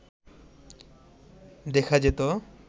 দেখা যেত